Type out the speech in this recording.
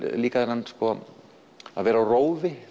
líka þennan að vera á rófi